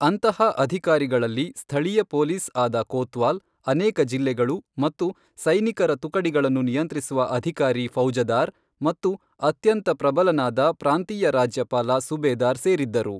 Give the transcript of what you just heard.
ಅಂತಹ ಅಧಿಕಾರಿಗಳಲ್ಲಿ ಸ್ಥಳೀಯ ಪೊಲೀಸ್ ಆದ ಕೊತ್ವಾಲ್, ಅನೇಕ ಜಿಲ್ಲೆಗಳು ಮತ್ತು ಸೈನಿಕರ ತುಕಡಿಗಳನ್ನು ನಿಯಂತ್ರಿಸುವ ಅಧಿಕಾರಿ ಫೌಜದಾರ್ ಮತ್ತು ಅತ್ಯಂತ ಪ್ರಬಲನಾದ ಪ್ರಾಂತೀಯ ರಾಜ್ಯಪಾಲ ಸುಬೇದಾರ್ ಸೇರಿದ್ದರು.